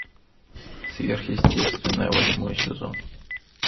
сверхъестественное восьмой сезон